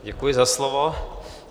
Děkuji za slovo.